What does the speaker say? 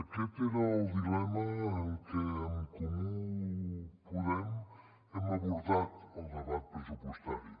aquest era el dilema amb què en comú podem hem abordat el debat pressupostari